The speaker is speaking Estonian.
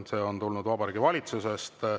See on tulnud Vabariigi Valitsusest.